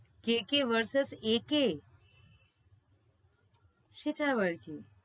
সে কে versus এ কে? সেটা আবার কি?